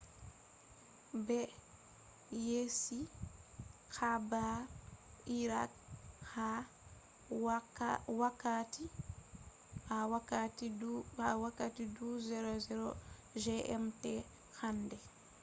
be yecci habar iraq ha wakkati 12.00 gmt hande